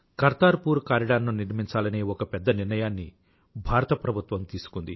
Kartar poor corridor ను నిర్మించాలనే ఒక పెద్ద నిర్ణయాన్ని భారత ప్రభుత్వం తీసుకుంది